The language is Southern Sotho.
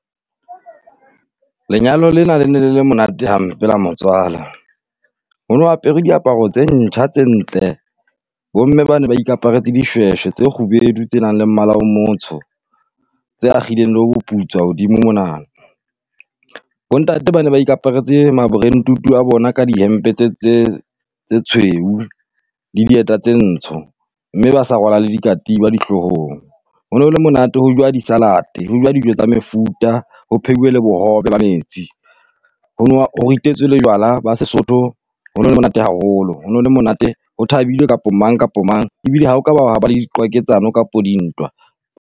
Lenyalo lena le ne le le monate hampe la motswala. Hono apere diaparo tse ntjha tse ntle. Bomme bana ne ba ikaparetse dishweshwe tse kgubedu, tse nang le mmala o motsho, tse akhileng le boputswa hodimo mona. Bontate bana ba ikaparetse ma-Brentwood-u a bona ka dihempe tse tse tshweu le dieta tse ntsho, mme ba sa rwala le dikatiba dihlohong. Hono le monate ho juwa disalate ho juwa dijo tsa mefuta o phehiwe le bohobe ba metsi. Ho ritetswe le jwala ba Sesotho ho nole monate haholo ho no le monate ho thabilwe kapo o mang kapo o mang ebile ha okaba hwa ba le diqwaketsano kapo dintwa.